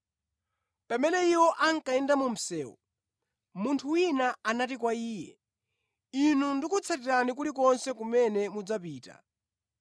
Pamene iwo ankayenda mu msewu, munthu wina anati kwa Iye, “Inu ndikutsatirani kulikonse kumene mudzapita.”